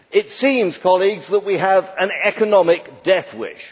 It seems, colleagues, that we have an economic death wish.